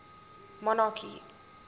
monarchy